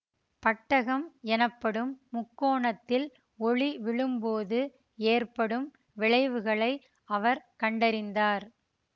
பட்டகம் எனப்படும் முக்கோணத்தில் ஒளி விழும்போது ஏற்படும் விளைவுகளை அவர் கண்டறிந்தார்